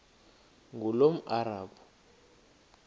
ngulomarabu